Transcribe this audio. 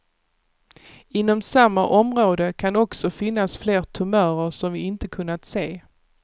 Inom samma område kan också finnas fler tumörer som vi inte kunnat se.